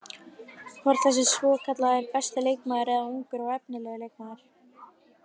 Hvort það sé svokallaði besti leikmaður eða ungur og efnilegur leikmaður.